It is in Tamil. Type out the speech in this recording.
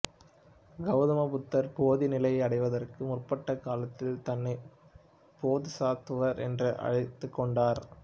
கௌதம புத்தர் போதிநிலையை அடைவதற்கு முற்பட்ட காலத்தில் தன்னை போதுசத்துவர் என்றே அழைத்துக்கொண்டார்